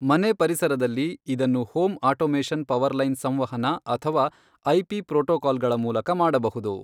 ಮನೆ ಪರಿಸರದಲ್ಲಿ, ಇದನ್ನು ಹೋಮ್ ಆಟೋಮೇಷನ್ ಪವರ್ಲೈನ್ ಸಂವಹನ ಅಥವಾ ಐಪಿ ಪ್ರೋಟೋಕಾಲ್ಗಳ ಮೂಲಕ ಮಾಡಬಹುದು.